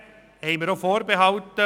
Hingegen haben wir auch Vorbehalte.